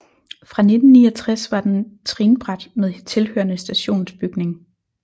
Fra 1969 var den trinbræt med tilhørende stationsbygning